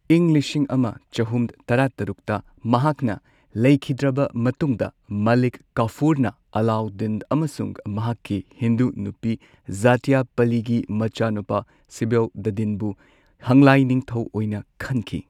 ꯏꯪ ꯂꯤꯁꯤꯡ ꯑꯃ ꯆꯍꯨꯝ ꯇꯔꯥꯇꯔꯨꯛꯇ ꯃꯍꯥꯛꯅ ꯂꯩꯈꯤꯗ꯭ꯔꯕ ꯃꯇꯨꯡꯗ ꯃꯂꯤꯛ ꯀꯥꯐꯨꯔꯅ ꯑꯂꯥꯎꯗꯗꯤꯟ ꯑꯃꯁꯨꯡ ꯃꯍꯥꯛꯀꯤ ꯍꯤꯟꯗꯨ ꯅꯨꯄꯤ ꯓꯇꯌꯄꯂꯤꯒꯤ ꯃꯆꯥꯅꯨꯄꯥ ꯁꯤꯍꯕꯎꯗꯗꯤꯟꯕꯨ ꯍꯪꯂꯥꯏ ꯅꯤꯡꯊꯧ ꯑꯣꯏꯅ ꯈꯟꯈꯤ꯫